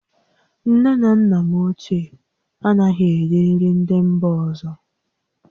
Nne na nna m ochie anaghị eri nri ndị mba ọzọ